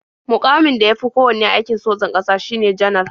Muƙamin da ya fi kowanne a aikon sojan ƙasa shine Janar.